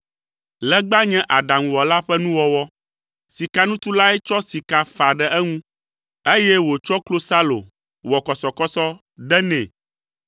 Legba nye aɖaŋuwɔla ƒe nuwɔwɔ. Sikanutulae tsɔ sika fa ɖe eŋu, eye wòtsɔ klosalo wɔ kɔsɔkɔsɔ de nɛ.